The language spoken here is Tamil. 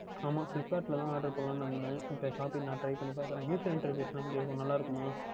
ஆமாம் Flipkart யில் தான் Try பண்ணலாம் என்று இருந்தேன் இப்பொழுது Shopee யில் நான் Try பண்ணி பார்க்கின்றேன் User Interface எல்லாம் எப்படி நன்றாக இருக்குமா